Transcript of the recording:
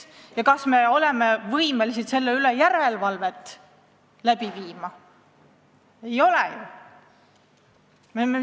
Ja teiseks: kas me oleme võimelised selle üle järelevalvet teostama?